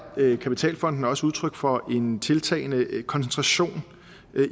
kapitalfondene også udtryk for en tiltagende koncentration